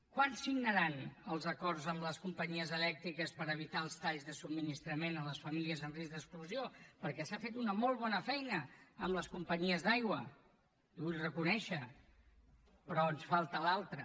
quan signaran els acords amb les companyies elèctriques per evitar els talls de subministrament a les famílies amb risc d’exclusió perquè s’ha fet una molt bona feina amb les companyies d’aigua li ho vull reconèixer però ens falta l’altra